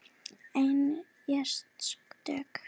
Einn játaði sök